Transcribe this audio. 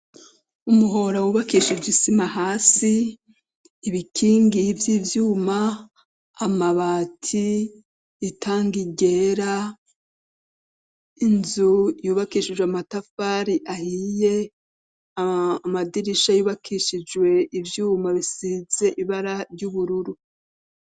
Umuhora wubakisha igisima hasi ibikingi by'ivyuma amabati itangi ryera inzu yubakishijwe amatafari ahiye amadirisha yubakishijwe ibyuma bisize ibara ry'ubururu.